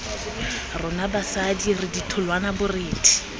rona basadi re ditholwana borethe